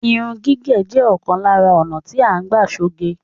Irun gígẹ̀ jẹ́ òkan lárá ònà tí à ń gbà ṣoge.